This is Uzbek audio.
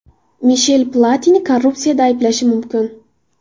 Mishel Platini korrupsiyada ayblanishi mumkin.